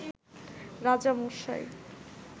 রাজা মশাই